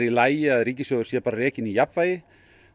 í lagi að ríkissjóður sé bara rekinn í jafnvægi